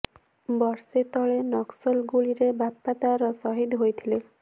ବର୍ଷେ ତଳେ ନକ୍ସଲ ଗୁଳିରେ ବାପା ତାର ସହିଦ ହୋଇଥିଲେ